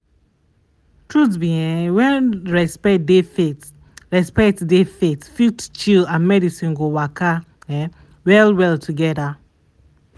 truth be um say when respect dey faith respect dey faith fit chill and medicine go waka um well well together.